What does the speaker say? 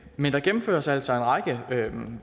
men der gennemføres altså en række